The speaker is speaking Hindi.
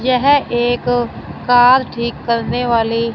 यह एक कार ठीक करने वाली--